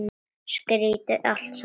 Skrýtið allt saman.